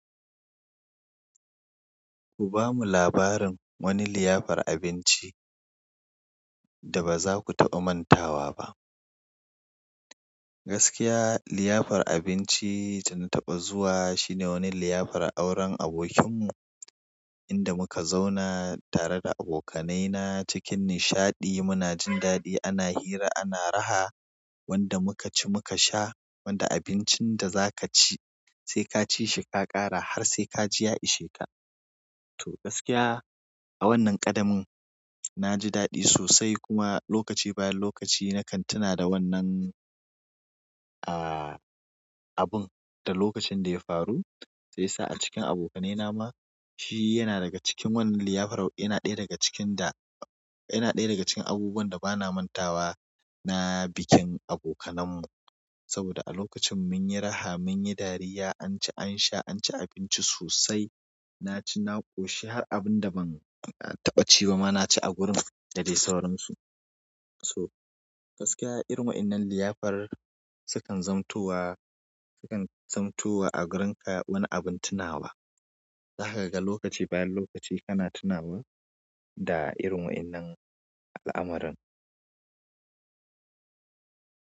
Ku bamu labarin wani liyafar abinci da ba za ku taɓa mantawa ba. Gaskiya, liyafar abinci da na taɓa zuwa shine wani liyafar auren abokinmu, inda muka zauna tare da abokanaina cikin nishaɗi. Muna jin daɗi, ana hira, ana raha. Wanda muka ci muka sha, wanda abincin da za ka ci sai ka ci shi ka ƙara har sai ka ji ya isheka. To gaskiya a wannan ƙadamin na ji daɗi sosai kuma lokaci bayan lokaci na kan tuna da wannan, aa, abun da lokacin da ya faru. Sai sa a cikin abokanaina ma shi yana daga cikin wannan liyafar. Ina ɗaya daga cikin da, ina ɗaya daga cikin abubuwan da ba na mantawa na bikin abokananmu. Saboda a lokacin mun yi raha, mun yi dariya, an ci, an sha, an ci abinci sosai. Na ci, na koshi har abin da ban taɓa ci ba ma na ci a wurin da dai sauransu. So gaskiya irin wa'innan liyafar sukan zamtowa, sukan zamtowa a gurinka wani abin tunawa. Zakaga daga lokaci bayan lokaci kana tunawa da irin wa'innan al'amuran.